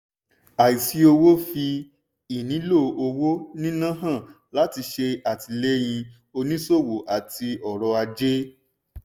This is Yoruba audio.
àìsí owó fi ìnílò owó níná hàn láti ṣe àtìléyìn onísòwò àti ọrọ̀ ajé.